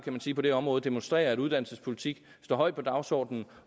på det her område demonstrerer at uddannelsespolitik står højt på dagsordenen